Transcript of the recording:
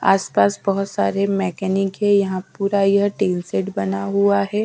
आसपास बोहोत सारे मैकेनिक है यहाँ पूरा यह स्टील सेट बना हुआ है।